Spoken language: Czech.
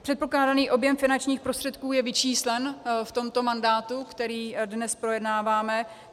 Předpokládaný objem finančních prostředků je vyčíslen v tomto mandátu, který dnes projednáváme.